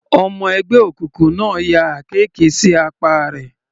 Ọmọ ẹgbẹ́ òkùnkùn náà ya àkekè sí apá rẹ̀.